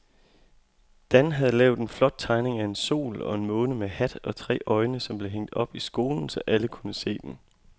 Dan havde lavet en flot tegning af en sol og en måne med hat og tre øjne, som blev hængt op i skolen, så alle kunne se den.